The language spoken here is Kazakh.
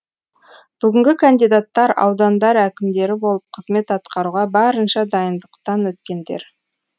бүгінгі кандидаттар аудандар әкімдері болып қызмет атқаруға барынша дайындықтан өткендер